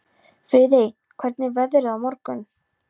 Friðey, hvernig er veðrið á morgun?